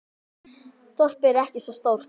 Þorpið er ekki svo stórt.